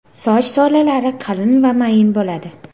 Soch tolalari qalin va mayin bo‘ladi.